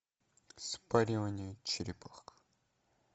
спаривание черепах